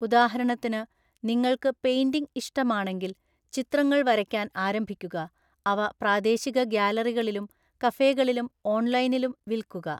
ഉദാഹരണത്തിന്, നിങ്ങൾക്ക് പെയിന്റിംഗ് ഇഷ്ടമാണെങ്കിൽ ചിത്രങ്ങൾ വരയ്ക്കാൻ ആരംഭിക്കുക, അവ പ്രാദേശിക ഗാലറികളിലും കഫേകളിലും ഓൺലൈനിലും വിൽക്കുക.